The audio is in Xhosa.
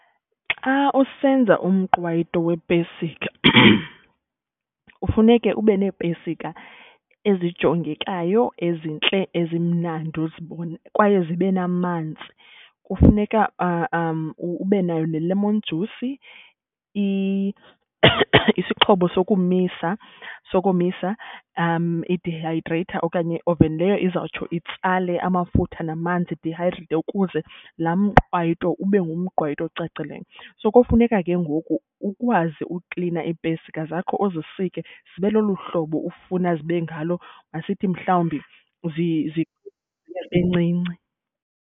Xa usenza umqwayito wepesika kufuneke ube neepesika ezijongekayo, ezintle, ezimnandi uzibone kwaye zibe namanzi. Kufuneka ube nayo ne-lemon juice, isixhobo zokumisa sokomisa i-dehydrater okanye oven leyo izawutsho itsale amafutha namanzi idihayidreyithe ukuze laa mqwayito ube ngumqwayito ocacileyo. So kofuneka ke ngoku ukwazi uklina iipesika zakho, uzisike zibe lolu hlobo ufuna zibe ngalo masithi mhlawumbi bencinci.